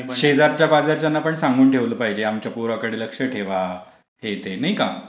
शेजारच्या पाजारच्यांना पण सांगून ठेवलं पाहिजे., आमच्या पोरकडे लक्ष ठेवा. हे ते, नाही का?